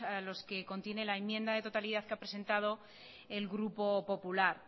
a los que contiene la enmienda de totalidad que ha presentado el grupo popular